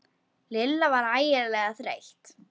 Lilla var ægilega þreytt.